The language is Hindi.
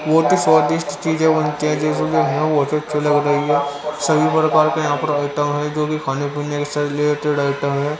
बहोत ही स्वादिष्ट चीजें बनती हैं बहोत अच्छे लग रही हैं सभी प्रकार के यहां पर आइटम हैं जो भी खाने से रिलेटेड आइटम है।